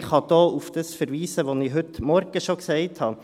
Ich kann hier auf das verweisen, was ich schon heute Morgen gesagt habe.